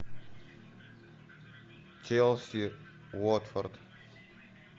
челси уотфорд